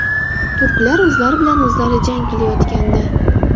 Turklar o‘zlari bilan o‘zlari jang qilayotgandi.